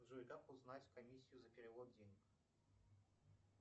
джой как узнать комиссию за перевод денег